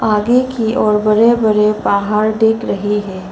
आगे की ओर बड़े बड़े बाहर दिख रही है।